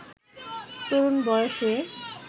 তরুণ বয়সে